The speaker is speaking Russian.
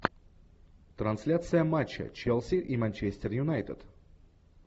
трансляция матча челси и манчестер юнайтед